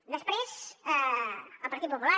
després el partit popular